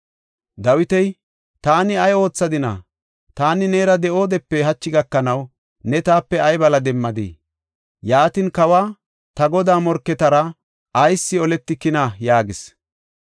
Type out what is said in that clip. Dawiti, “Taani ay oothadina? Taani neera de7oodepe hachi gakanaw ne taape ay bala demmadii? Yaatin, kawa, ta godaa morketara ayis oletikinaa?” yaagis.